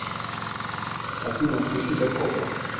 афина включи дакота